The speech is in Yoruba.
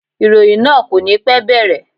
Ìròyìn náà kò ní pẹ́ bẹ̀rẹ̀.